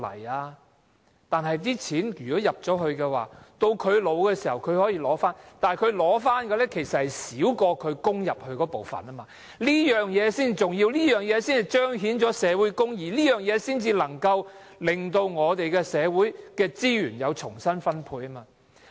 他們作出了供款，年老的時候可以取回，但是，他們取回的，其實少過之前的供款，這才是重要，這才彰顯社會公義，才能夠令社會資源可以重新分配。